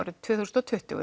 tvö þúsund og tuttugu